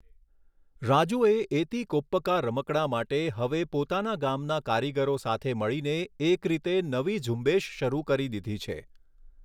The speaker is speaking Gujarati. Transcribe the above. રાજૂએ એતી કોપ્પકા રમકડાં માટે હવે પોતાના ગામના કારીગરો સાથે મળીને એક રીતે નવી ઝૂંબેશ શરૂ કરી દીધી છે.